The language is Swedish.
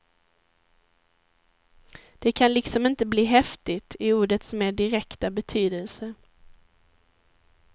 Det kan liksom inte bli häftigt, i ordets mer direkta betydelse.